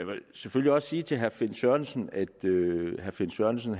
vil selvfølgelig også sige til herre finn sørensen at herre finn sørensen